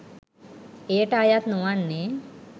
එයට අයත් නොවන්නේ,